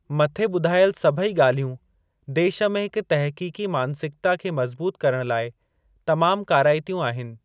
मथे बुधायल सभेई ॻाल्हियूं देश में हिक तहकीकी मानसिकता खे मज़बूत करण लाइ तमामु काराइतियूं आहिनि।